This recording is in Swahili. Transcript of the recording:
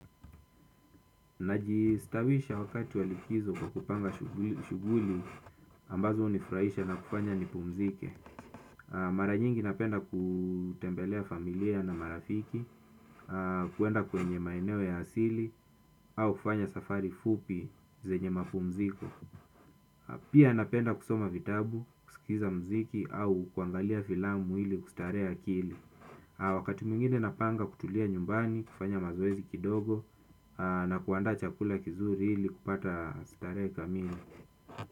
Najistawisha wakati wa likizo kwa kupanga shughuli ambazo hunifurahisha na kufanya nipumzike. Mara nyingi napenda kutembelea familia na marafiki, kuenda kwenye maeneo ya asili. Au kufanya safari fupi zenye mapumziko pia napenda kusoma vitabu, kusikiza mziki au kuangalia filamu ili kustarehe akili. Wakati mwingine napanga kutulia nyumbani, kufanya mazoezi kidogo na kuandaa chakula kizuri ili kupata starehe kamili.